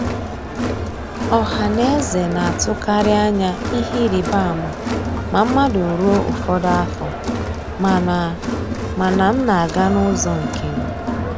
Ọhaneze na-atụkarị anya ihe ịrịbama ma mmadụ ruo ụfọdụ afọ, mana mana m na-aga n'ụzọ nke m.